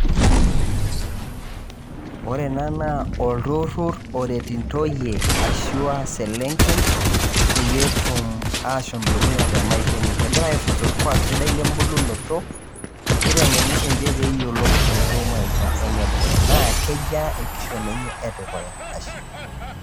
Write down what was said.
Ore ena naa olturur oret intoiyie anaa iselenken peyie etum ashom dukuya te maisha enye. Egira aifunza olkwaak sidai lembulunoto neitengeni sii ninche pee eyiolou enetiu maisha enye e dukuya. Naa kejaa enkishon enye e dukuya ashe.